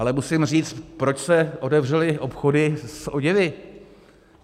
Ale musím říct, proč se otevřely obchody s oděvy?